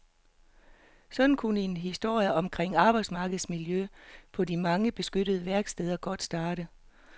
Sådan kunne en historie omkring arbejdsmiljøet på de mange beskyttede værksteder godt starte.